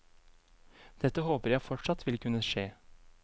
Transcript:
Dette håper jeg fortsatt vil kunne skje.